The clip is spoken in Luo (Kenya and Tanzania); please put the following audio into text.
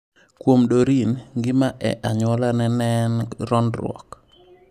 Kuom Doreen, ngima e anyuolane ne en rondruok.